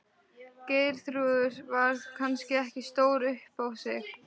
Geirþrúður var kannski ekki stór upp á sig.